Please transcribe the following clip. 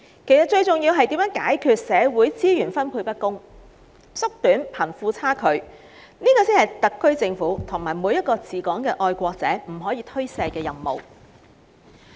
其實，最重要的，是如何解決社會資源分配不均及收窄貧富差距，這是特區政府及每一位治港的愛國者不可推卸的任務。